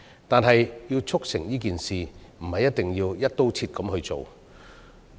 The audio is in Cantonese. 但是，要促成這件事，不一定要"一刀切"處理。